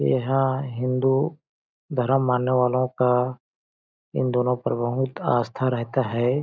यहां हिंदू धर्म मानने वालों का इन दोनों पर बहुत आस्था रहता है।